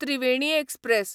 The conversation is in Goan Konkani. त्रिवेणी एक्सप्रॅस